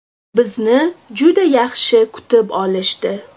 Bizni juda yaxshi kutib olishdi.